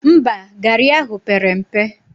Mba, garị ahụ pere mpe